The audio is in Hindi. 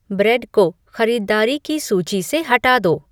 ब्रेड को ख़रीददारी की सूची से हटा दो